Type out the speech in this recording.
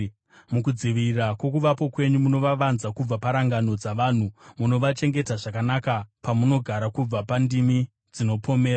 Mukudzivirira kwokuvapo kwenyu munovavanza kubva parangano dzavanhu; munovachengeta zvakanaka pamunogara kubva pandimi dzinopomera.